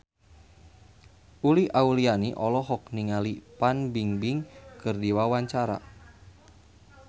Uli Auliani olohok ningali Fan Bingbing keur diwawancara